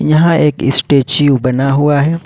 यहां एक स्टेच्यू बना हुआ है।